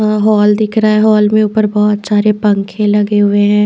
अं hall दिख रहा है हॉल मे ऊपर बहुत सारे पंखे लगे हुए है।